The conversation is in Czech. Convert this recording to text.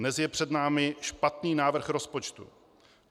Dnes je před námi špatný návrh rozpočtu.